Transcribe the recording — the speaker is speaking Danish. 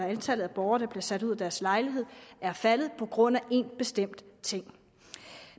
antallet af borgere der bliver sat ud af deres lejlighed er faldet på grund af en bestemt ting